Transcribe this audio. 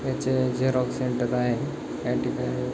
ह्याच्या हे Xerox centre आहे या ठिकाणी--